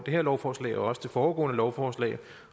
her lovforslag og også det foregående lovforslag